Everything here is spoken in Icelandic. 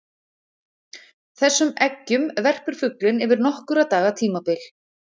þessum eggjum verpir fuglinn yfir nokkurra daga tímabil